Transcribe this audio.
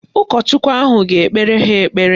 Ụkọchukwu ahụ a ga-ekpere ha ekpere?